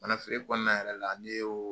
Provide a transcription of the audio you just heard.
Ka na feere kɔnɔna yɛrɛ la, ni ye o